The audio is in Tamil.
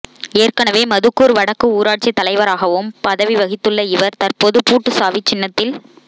ஏற்கெனவே மதுக்கூா் வடக்கு ஊராட்சித் தலைவராகவும் பதவி வகித்துள்ள இவா் தற்போது பூட்டு சாவி சின்னத்தில்